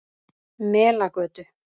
Melagötu